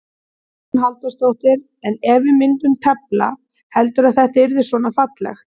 Hugrún Halldórsdóttir: En ef við myndum tefla, heldurðu að þetta yrði svona fallegt?